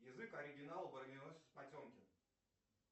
язык оригинала броненосец потемкин